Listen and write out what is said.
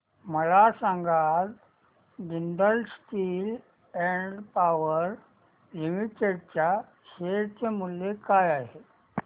मला सांगा आज Jindal steel and power limited च्या शेअर चे मूल्य काय आहे